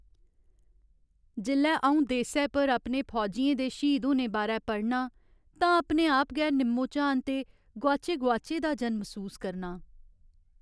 जेल्लै अऊं देस्सै पर अपने फौजियें दे श्हीद होने बारै पढ़नां तां अपने आप गी निम्मोझान ते गोआचे गोआचे दा जन मसूस करनां।